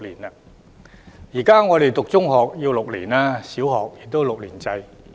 現時讀畢中學需時6年，小學亦是6年制。